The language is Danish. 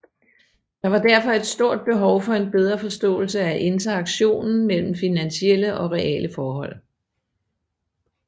Der var derfor et stort behov for en bedre forståelse af interaktionen mellem finansielle og reale forhold